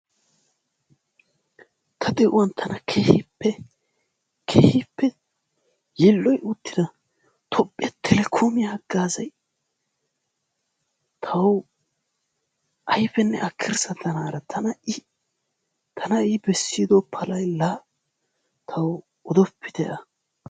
Ta de'uwaan tana keehippe keehppe yiilloyi uttido toophphee telekoomee haggaazay kawoy ayfenne akirssa tanara i tana bessido palay la tawu odoppite a.